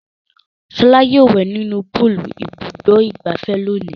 Ṣọlá yóò wẹ̀ nínú púúlù Ibùdó-ìgbafẹ́ lónìí.